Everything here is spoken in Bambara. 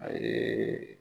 A ye